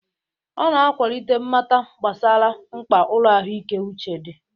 Ọ na-akwalite mmata gbasara mkpa ụlọ ahụike uche dị.